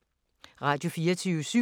Radio24syv